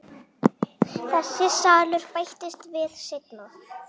Þessi salur bættist við seinna.